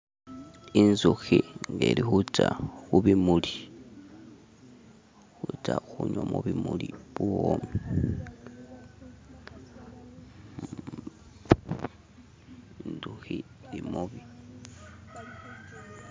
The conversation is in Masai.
Inzukhi ngeli khutsa khu bimuli khutsa khunywa mubimuli buwomi